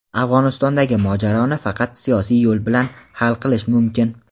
Afg‘onistondagi mojaroni faqat siyosiy yo‘l bilan hal qilish mumkin.